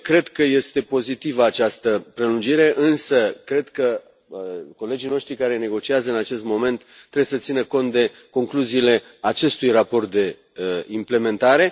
2. Cred că este pozitivă această prelungire, însă cred că colegii noștri care negociază în acest moment trebuie să țină cont de concluziile acestui raport de implementare.